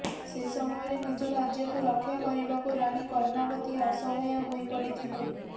ସେ ସମୟରେ ନିଜ ରାଜ୍ୟକୁ ରକ୍ଷା କରିବାକୁ ରାଣୀ କର୍ଣ୍ଣାବତୀ ଅସହାୟ ହୋଇ ପଡ଼ିଥିଲେ